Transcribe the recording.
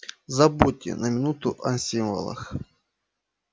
забудьте на минуту о символах